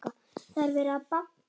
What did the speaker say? Það er verið að banka!